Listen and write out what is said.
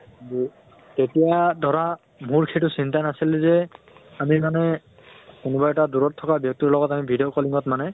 তেতিয়া ধৰা মোৰ সেইটো চিন্তা নাছিলে যে আমি মানে কোনোবা এটা দূৰত থকা ব্য়ক্তি লগত আমি video calling ত মানে